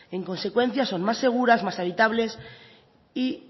en consecuencia son más seguras más habitables